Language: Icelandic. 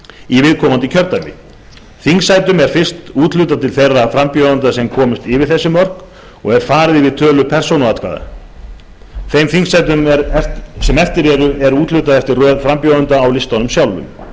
í viðkomandi kjördæmi þingsætum er fyrst úthlutað til þeirra frambjóðenda sem komust yfir þessi mörk og er farið eftir tölu persónuatkvæða þeim þingsætum sem eftir eru er úthlutað eftir röð frambjóðenda á listanum sjálfum